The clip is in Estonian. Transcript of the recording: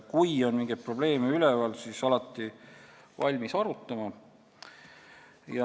Kui on mingeid probleeme üleval, siis olen alati valmis arutama.